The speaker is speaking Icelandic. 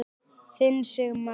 Þinn Sigmar.